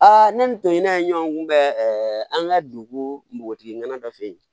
ne ni n to n'a ɲɔgɔn kunbɛ an ka dugu nogotigi nana dɔ fɛ yen